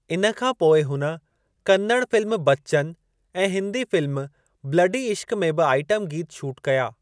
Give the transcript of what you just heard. इन खां पोइ हुन कन्नड़ फ़िल्म बच्चन ऐं हिन्दी फ़िल्म ब्लडी इश्क़ु में ॿि आईटमु गीत शूट कया।